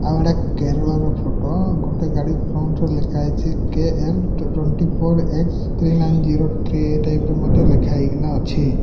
ଆଉ ଏଟା କେରଳର ଫଟୋ ଗୋଟେ ଗାଡ଼ି ଫ୍ରଣ୍ଟ ର ଲେଖା ହେଇଚି କେ_ଏଲ୍ ଟ twenty four S three nine zero three ଏଇ ଟାଇପ ର ମଧ୍ୟ ଲେଖା ହେଇକିନା ଅଛି।